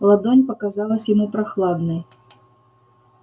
ладонь показалась ему прохладной